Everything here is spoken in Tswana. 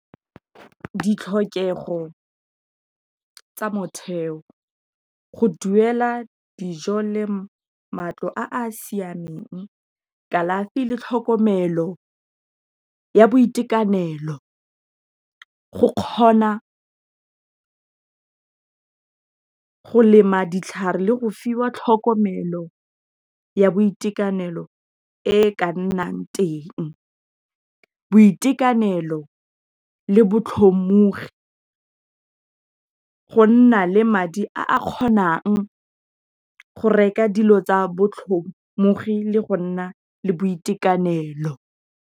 Ditlhokego tsa motheo, go duela dijo, le matlo a a siameng, kalafi le tlhokomelo ya boitekanelo, go kgona go lema ditlhare le go fiwa tlhokomelo ya boitekanelo e ka nnang teng, boitekanelo le botlhomogi, go nna le madi a a kgonang go reka dilo tsa botlhomogi le go nna le boitekanelo.